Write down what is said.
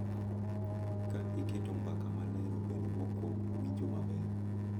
Ka iketo mbaka maler obed mokuongo, winjo maber,